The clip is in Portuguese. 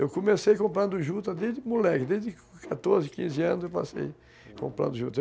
Eu comecei comprando juta desde moleque, desde quatorze, quinze anos eu passei comprando juta.